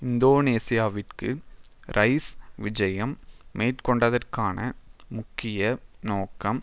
இந்தோனேஷியாவிற்கு Rice விஜயம் மேற்கொண்டதற்கான முக்கிய நோக்கம்